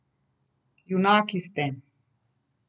Junaki ste.